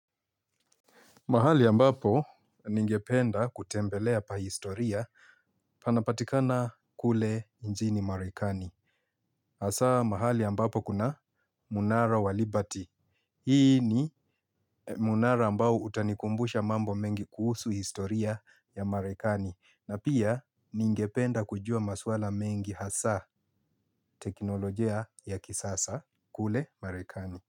Mahali ambapo ningependa kutembelea pa historia panapatikana kule nchini marekani. Hasaa mahali ambapo kuna mnara wa liberty. Hii ni mnara ambao utanikumbusha mambo mengi kuhusu historia ya marekani. Na pia ningependa kujua maswala mengi hasa teknolojia ya kisasa kule marekani.